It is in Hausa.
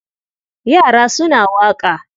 Yra suna waƙa.